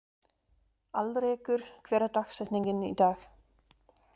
Alrekur, hver er dagsetningin í dag?